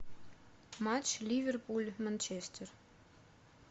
матч ливерпуль манчестер